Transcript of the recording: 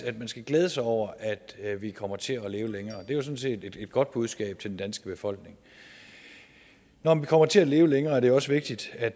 at man skal glæde sig over at vi kommer til at leve længere det er jo sådan set et godt budskab til den danske befolkning når vi kommer til at leve længere er det også vigtigt at